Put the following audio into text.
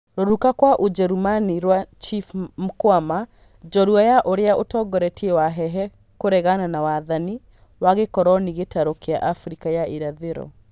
Rũruka kwa Ũjerũmani rwa Chief Mkwawa, njorua ya ũrĩa ũtongoretie Wahehe kũregana na wathani wa gĩkoronĩ gĩtaro kĩa Afrika ya irathĩro